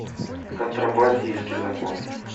контрабандистский закон